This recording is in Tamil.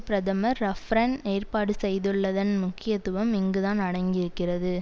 பிரதமர் ரஃப்பரன் ஏற்பாடு செய்துள்ளதன் முக்கியத்துவம் இங்குதான் அடங்கியிருக்கிறது